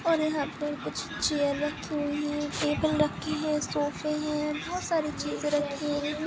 और यहा पर कुछ चैअर रखी हुई है टेबल रखी है सोफ़े है बहुत सारी चीज रखी है।